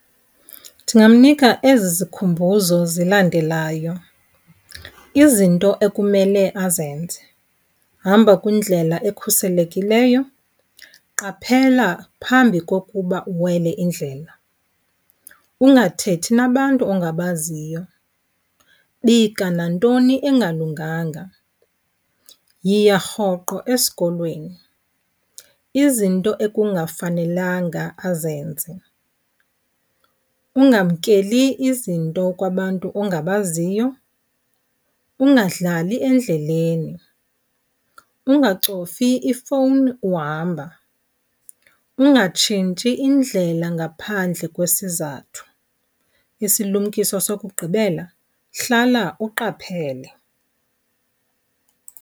Ndingamnika ezi zikhumbuzo zilandelayo. Izinto ekumele azenze, hamba kwindlela ekhuselekileyo, qaphela phambi kokuba uwele indlela, ungathethi nabantu ongabaziyo, bika nantoni engalunganga, yiya rhoqo esikolweni. Izinto ekungafanelanga azenze, ungamkeli izinto kubantu ongabaziyo, ungadlali endleleni, ungacofi ifowuni uhamba, ungatshintshi indlela ngaphandle kwesizathu. Isilumkiso sokugqibela, hlala uqaphele.